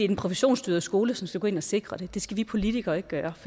den professionsstyrede skole som skal gå ind og sikre det det skal vi politikere ikke gøre